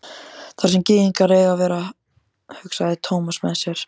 Þar sem gyðingar eiga að vera, hugsaði Thomas með sér.